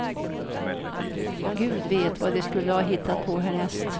Gud vet, vad de skulle ha hittat på härnäst.